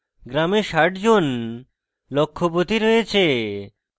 গ্রামে 60 জন লক্ষপতি রয়েছে